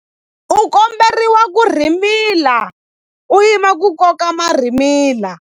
U komberiwa ku rhimila u yima ku koka marhimila.